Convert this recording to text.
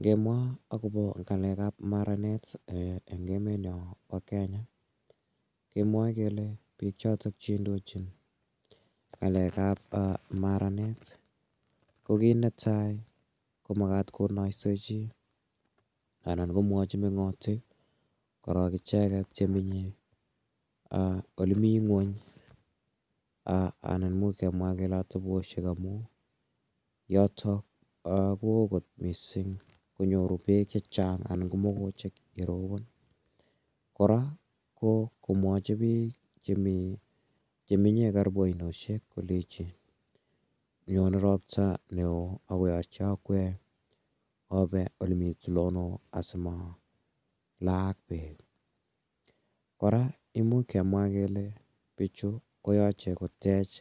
Ngemwa akopa ng'alek ap maranet en emetnyo pa Kenya kemwae kele piik chotok che indochin ng'alek ap maranet ko kit ne tai ko makat konaisechi anan komwachi meng'otik korok icheket che menye ole mi ng'uny anan imuch kemwa kele ateposhek amu yotok ko oo kot missing' konyoru peek che chan' anan ko mogochek ye ropon. Kora ko komwachi pik che menye karipu ainoshek kolechi nyone ropta ne oo ako yache ope akwek ole mi tulondok asima laak peek. Kora imuch kemwa kele pichu koyache kotech